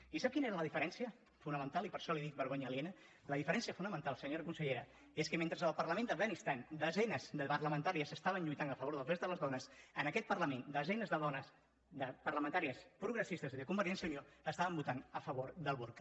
i sap quina era la diferència fonamental i per això li dic vergonya aliena la diferència fonamental senyora consellera és que mentre al parlament d’afganistan desenes de parlamentàries estaven lluitant a favor dels drets de les dones en aquest parlament desenes de dones parlamentàries progressistes i de convergència i unió estaven votant a favor del burca